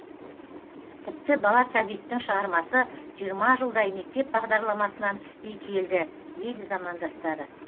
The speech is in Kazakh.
тіпті бала сәбиттің шығармасы жиырма жылдай мектеп бағдарламасынан түспей келді дейді замандастары